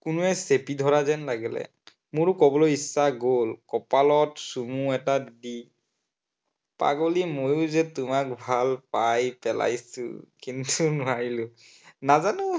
কোনোৱে চেপি ধৰা যেন লাগিলে। মোৰো কবলৈ ইচ্ছা কপালত চুমু এটা দি, পাগলী মইয়ো যে তোমাক ভাল পাই পেলাইছো। কিন্তু নোৱাৰিলো।